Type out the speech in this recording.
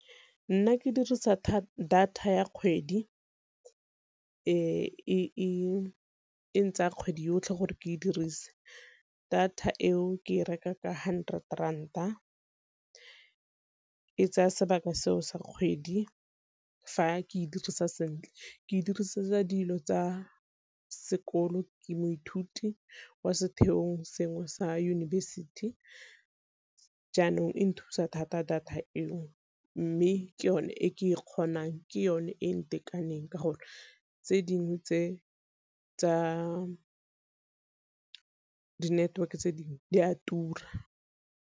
Nna ke dirisa data ya kgwedi e ntsaya kgwedi yotlhe gore ke dirise. Data eo ke e reka ka hundred ranta e tsaya sebaka seo sa kgwedi, fa ke e dirisa sentle ke e dirisetsa dilo tsa sekolo, ke moithuti wa setheong sengwe sa yunibesithi jaanong e nthusa thata data eo. Mme ke yone e ke e kgonang, ke yone e ntekaneng ka gore tse dingwe tse tsa di-network-e tse dingwe di a tura.